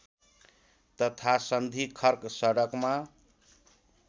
तथा सन्धिखर्क सडकमा